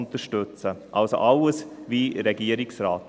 Wir folgen also in allem dem Regierungsrat.